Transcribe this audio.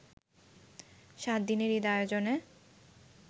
সাত দিনের ঈদ আয়োজনে